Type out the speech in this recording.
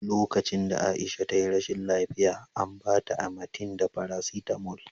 Lokacin da Aisha ta yi rashin lafiya, an ba ta Amatem da farasitamol